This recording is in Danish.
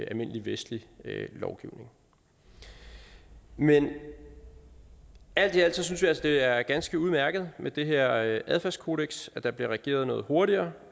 almindelig vestlig lovgivning men alt i alt synes vi altså det er ganske udmærket med det her adfærdskodeks og at der bliver reageret noget hurtigere